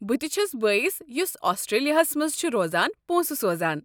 بہٕ تہ چھس بٲیس، یُس آسٹرٛیلاہس منٛز چھُ روزان، پونٛسہٕ سوزان۔